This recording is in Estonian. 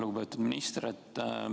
Lugupeetud minister!